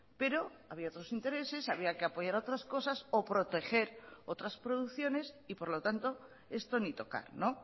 pero había otros intereses había que apoyar otras cosas o proteger otras producciones y por lo tanto esto ni tocar no